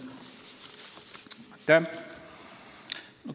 Aitäh!